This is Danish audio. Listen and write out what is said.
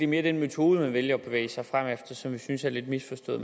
mere den metode man vælger at bevæge sig frem efter som vi synes er lidt misforstået